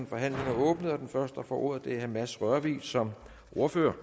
forhandlingen er åbnet og den første der får ordet er herre mads rørvig som ordfører